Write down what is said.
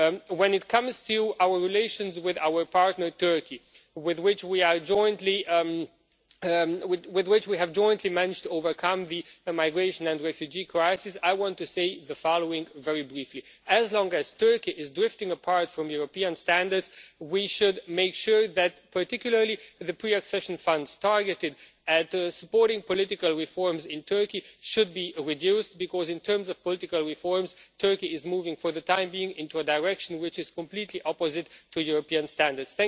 When it comes to our relations with our partner Turkey, with which we have jointly managed to overcome the migration and refugee crisis, I want to say the following very briefly as long as Turkey is drifting apart from European standards, we should make sure that particularly the pre accession funds targeted at supporting political reforms in Turkey should be reduced because, in terms of political reforms, Turkey is moving for the time being into a direction which is completely opposite to European standards.